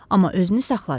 Amma özünü saxladı.